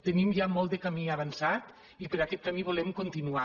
tenim ja molt de camí avançat i per aquest camí volem continuar